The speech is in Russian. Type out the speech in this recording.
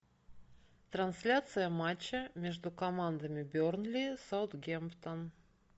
трансляция матча между командами бернли саутгемптон